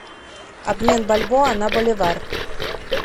обмен бальбоа на боливар